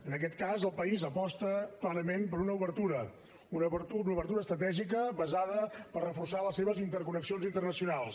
en aquest cas el país aposta clarament per una obertura una obertura estratègica basada a reforçar les seves interconnexions internacionals